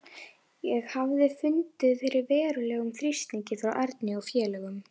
Ég hafði fundið fyrir verulegum þrýstingi frá Erni og félögum.